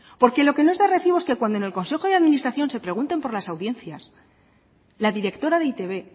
porque lo que no es recibo es que cuando en el consejo de administración se pregunten por las audiencias la directora de e i te be